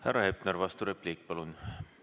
Härra Hepner, vasturepliik, palun!